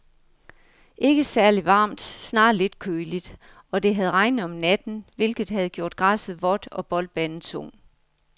Ikke særligt varmt, snarere lidt køligt, og det havde regnet om natten, hvilket havde gjort græsset vådt og boldbanen tung.